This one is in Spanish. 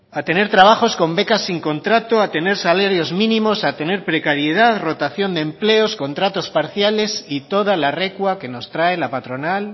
a tener trabajos con becas sin contrato a tener salarios mínimos a tener precariedad rotación de empleos contratos parciales y toda la recua que nos trae la patronal